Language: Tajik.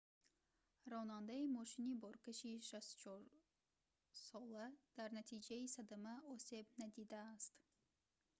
ронандаи мошини боркаши 64-сола дар натиҷаи садама осеб надидиааст